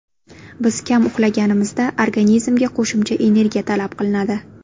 Biz kam uxlaganimizda organizmga qo‘shimcha energiya talab qilinadi.